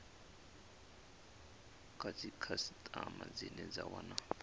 kha dzikhasitama dzine dza wana